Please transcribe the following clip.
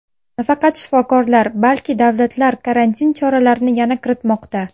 Nafaqat shifokorlar, balki davlatlar karantin choralarini yana kiritmoqda.